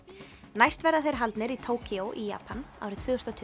næst verða þeir haldnir í í Japan árið tvö þúsund